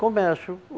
Comércio.